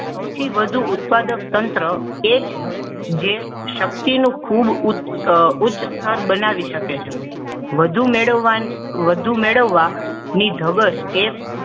સૌથી વધુ ઉત્પાદક તંત્ર એ છે જે શક્તિનો ખૂબ ઉચ્ચ ઉચ્ચ સ્થતર બનાવી શકે છે વધુ મેળવવા વધુ મેળવવાની ધગસ એ